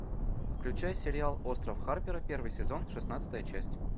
включай сериал остров харпера первый сезон шестнадцатая часть